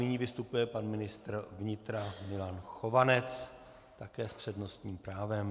Nyní vystupuje pan ministr vnitra Milan Chovanec, také s přednostním právem.